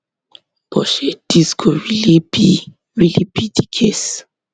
but shey dis go really be really be di case